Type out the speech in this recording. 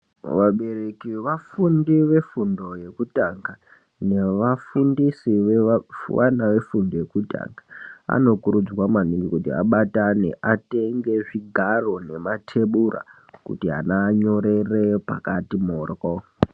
Vabereki vevafundi vefundo yekutanga nevafundisi vevana vefundo yekutanga vanokurudzirwa maningi kuti vabatane atenge zvigaro nematebura kuti vana vanyorere pakati mhoryo.